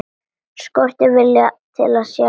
Skortir viljann til að sjá.